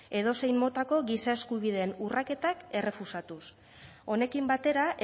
edozein motako giza eskubideen urraketak errefusatuz honekin batera